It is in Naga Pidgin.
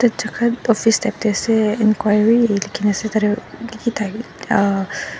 ekta dukan office type tae ase enquiry likhina ase tatae.